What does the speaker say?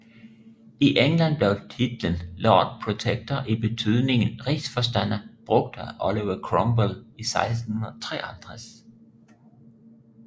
I England blev titlen Lord Protector i betydningen Rigsforstander brugt af Oliver Cromwell i 1653